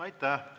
Aitäh!